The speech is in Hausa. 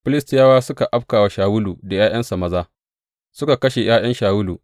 Filistiyawa suka abka wa Shawulu da ’ya’yansa maza, suka kashe ’ya’yan Shawulu.